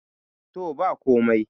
to ba komai